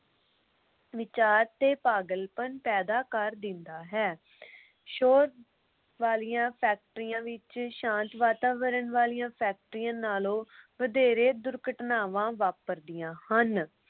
ਵਿਚਾਰ ਤੇ ਪਾਗਲ ਪਨ ਪੈਦਾ ਕਰ ਦਿੰਦਾ ਹੈ। ਸ਼ੋਰ ਵਾਲੀਆਂ ਫੈਕਟਰੀਆਂ ਵਿਚ ਸ਼ਾਂਤ ਵਾਤਾਵਰਨ ਵਾਲੀਆਂ ਫੈਕਟਰੀਆਂ ਨਾਲੋ ਵਧੇਰੇ ਦੁਰਘਟਨਾਵਾਂ ਵਾਪਰਦੀਆਂ ਹਨ।